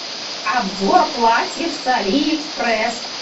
обзор платьев с алиэкспресс